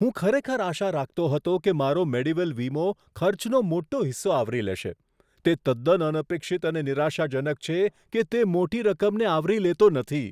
હું ખરેખર આશા રાખતો હતો કે મારો મેડીવેલ વીમો ખર્ચનો મોટો હિસ્સો આવરી લેશે. તે તદ્દન અનપેક્ષિત અને નિરાશાજનક છે કે તે મોટી રકમને આવરી લેતો નથી.